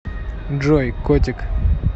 джой котик